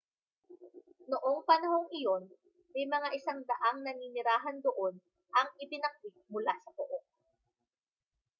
noong panahong iyon may mga 100 naninirahan doon ang ibinakwit mula sa pook